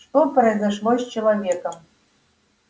что произошло с человеком